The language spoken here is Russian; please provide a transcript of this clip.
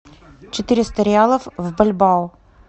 четыреста реалов в бальбоа